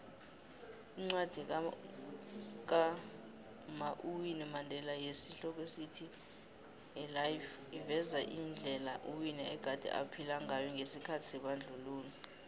iincwadi kama uwinnui mandela yesi hloko sithi a lifeiveza indela uwinnie egade aphila ngayongesikhathi sebandlululo